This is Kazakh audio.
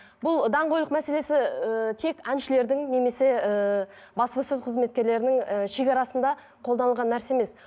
бұл даңғойлық мәселесі ыыы тек әншілердің немесе ііі баспасөз қызметкерлерінің ііі шекарасында қолданған нәрсе емес